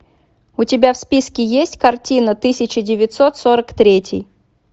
у тебя в списке есть картина тысяча девятьсот сорок третий